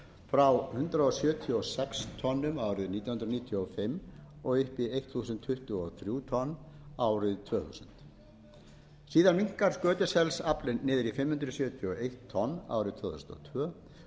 frá hundrað sjötíu og sex tonnum árið nítján hundruð níutíu og fimm upp í þúsund tuttugu og þrjú tonn árið tvö þúsund síðan minnkar skötuselsaflinn niður í fimm hundruð sjötíu og eitt tonn árið tvö þúsund og tvö og fer ekki að